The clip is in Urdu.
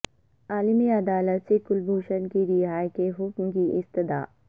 عالمی عدالت سے کلبھوشن کی رہائی کے حکم کی استدعا